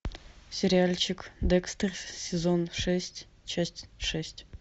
сериальчик декстер сезон шесть часть шесть